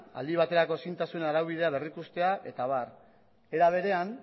aldi baterako ezintasun araubidea berrikustea eta abar era berean